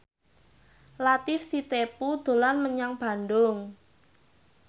Latief Sitepu dolan menyang Bandung